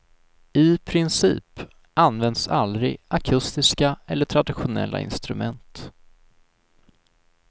I princip används aldrig akustiska eller traditionella instrument.